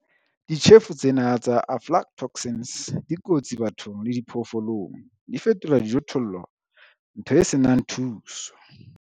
Ditjhefo tsena tsa aflatoxins di kotsi bathong le diphoofolong. Di fetola dijothollo ntho e se nang thuso.